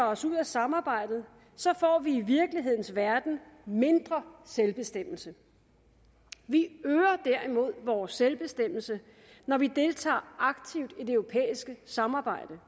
os ud af samarbejdet får vi i virkelighedens verden mindre selvbestemmelse vi øger derimod vores selvbestemmelse når vi deltager aktivt i det europæiske samarbejde